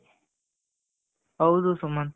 ಹೌದು ಸುಮಂತ್